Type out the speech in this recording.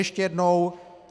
Ještě jednou.